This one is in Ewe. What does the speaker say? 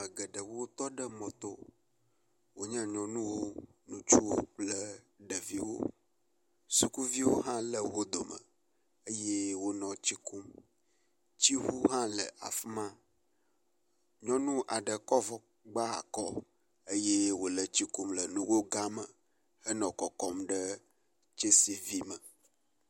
Ame geɖewo tɔ ɖe mɔ tɔ. Wonye nyɔnuwo, ŋutsuwo kple ɖeviwo. Sukuviwo hã le wo dome eye wonɔ tsi kum. Tsiŋu hã le afi ma. Nyɔnu aɖe kɔ avɔ gba akɔ eye wòle tsi kum le nugo gã me henɔ kɔkɔm ɖe tsɛsivi me.